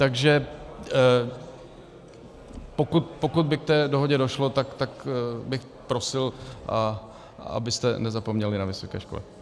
Takže pokud by k té dohodě došlo, tak bych prosil, abyste nezapomněli na vysoké školy.